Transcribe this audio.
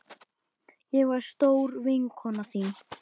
Ég var stór vinkona þín.